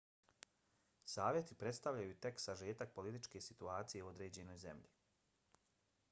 savjeti predstavljaju tek sažetak političke situacije u određenoj zemlji